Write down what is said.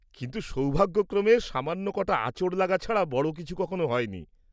-কিন্তু সৌভাগ্যক্রমে সামান্য কটা আঁচড় লাগা ছাড়া বড় কিছু কখনো হয়নি।